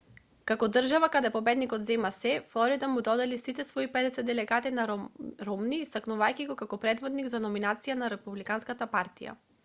како држава каде победникот зема сѐ флорида му ги додели сите свои педесет делегати на ромни истакнувајќи го како предводник за номинацијата на републиканската партија